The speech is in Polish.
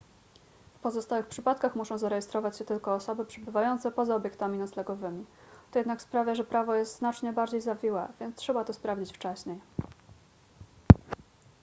w pozostałych przypadkach muszą zarejestrować się tylko osoby przebywające poza obiektami noclegowymi to jednak sprawia że prawo jest znacznie bardziej zawiłe więc trzeba to sprawdzić wcześniej